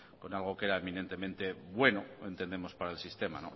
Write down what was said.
con algo que era eminentemente bueno entendemos para el sistema